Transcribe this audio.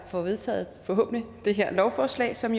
få vedtaget forhåbentlig det her lovforslag som